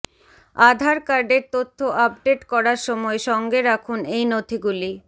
আধার কার্ডের তথ্য আপডেট করার সময় সঙ্গে রাখুন এই নথিগুলি